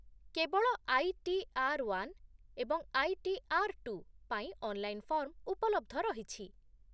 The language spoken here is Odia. କେବଳ ଆଇ ଟି ଆର୍ ୱାନ୍ ଏବଂ ଆଇ ଟି ଆର୍ ଟୁ ପାଇଁ ଅନ୍‌ଲାଇନ୍‌ ଫର୍ମ୍ ଉପଲବ୍ଧ ରହିଛି